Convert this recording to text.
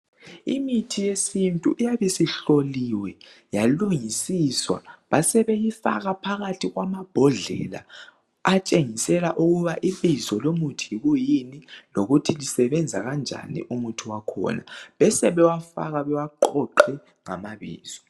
Imithi yesintu iyabe sihloliwe yalungisiswa basebeyifaka phakathi kwamambodlela atshengisela ukuba ibizo lomuthi yikuyini lokuthi usebenza kanjani umuthi wakhona Besebewufaka bawuqoqe ngamabizo.